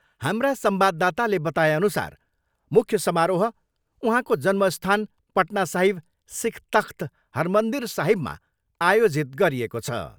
हाम्रा संवाददाताले बताएअनुसार मुख्य समारोह उहाँको जन्मस्थान पटना साहिब सिख तक्ष्त हरमन्दिर साहिबमा आयोजित गरिएको छ।